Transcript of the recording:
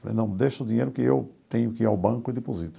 Falei, não, deixa o dinheiro que eu tenho que ir ao banco e deposito.